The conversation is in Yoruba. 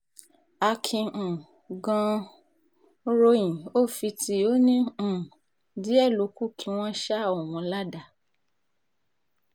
akin um gan-an ròyìn ó fi tí ò ní um díẹ̀ ló kù kí wọ́n ṣa òun ládàá